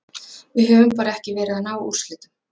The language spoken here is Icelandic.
Við höfum bara ekki verið að ná úrslitum.